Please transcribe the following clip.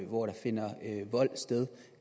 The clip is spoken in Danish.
hvor der finder vold sted